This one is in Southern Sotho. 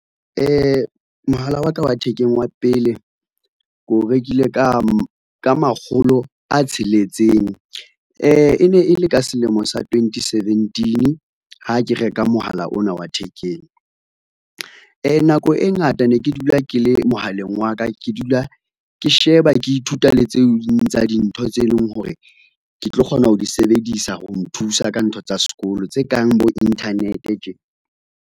Mohala wa ka wa thekeng wa pele ke o rekile ka makgolo a tsheletseng, e ne e le ka selemo sa twenty seventeen ha ke reka mohala ona wa thekeng. Nako e ngata ne ke dula ke le mohaleng wa ka ke dula ke sheba, ke ithuta le tse ding tsa dintho tse leng hore ke tlo kgona ho di sebedisa ho nthusa ka ntho tsa sekolo tse kang bo internet tje.